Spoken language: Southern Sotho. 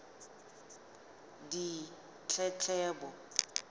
ditletlebo